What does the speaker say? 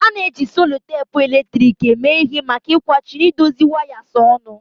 A na-eji selutepu eletrik eme ihe maka ịkwachi na idozi wires ọnụ.